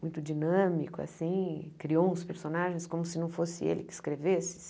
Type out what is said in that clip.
muito dinâmico, assim criou uns personagens como se não fosse ele que escrevesse.